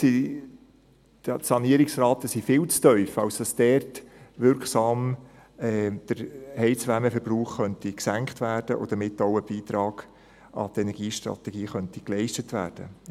Die Sanierungsraten sind viel zu tief, als dass der Heizwärmeverbrauch dort wirksam gesenkt und damit auch ein Beitrag an die Energiestrategie geleistet werden könnte.